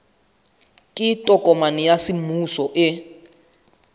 ke tokomane ya semmuso e